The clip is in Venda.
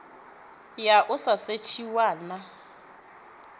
ya u sa setshiwa na